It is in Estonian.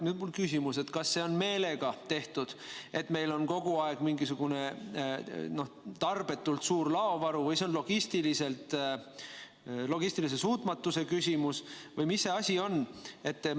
Mul küsimus: kas see on meelega tehtud, et meil on kogu aeg mingisugune tarbetult suur laovaru, või see on logistilise suutmatuse küsimus või mis asi see on?